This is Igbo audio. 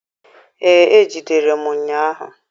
Ee, e jidere m ụnyahụ